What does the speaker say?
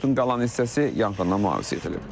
Otun qalan hissəsi yanğından mühafizə edilib.